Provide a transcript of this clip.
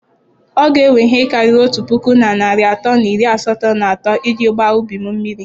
Ọ ga ewe ihe karịrị otu puku na narị atọ na iri asaa na atọ iji gbaa ubi m mmiri.